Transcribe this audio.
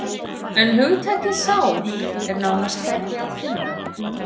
En hugtakið sál er nánast hvergi að finna.